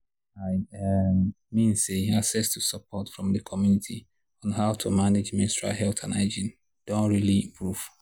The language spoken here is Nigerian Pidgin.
i um mean say access to support from the community on how to manage menstrual health and hygiene doh really improve